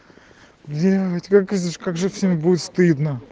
блять как же будет стыдно